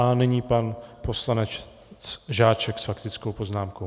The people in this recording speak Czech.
A nyní pan poslanec Žáček s faktickou poznámkou.